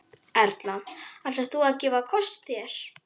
Erla: Ætlar þú að gefa kost þér?